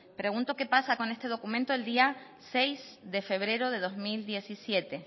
pregunto qué pasa con este documento el día seis de febrero de dos mil diecisiete